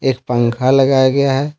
एक पंखा लगाया गया है।